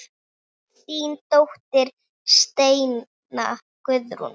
Þín dóttir Steina Guðrún.